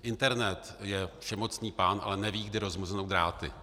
Internet je všemocný pán, ale neví, kdy rozmrznou dráty.